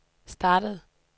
startede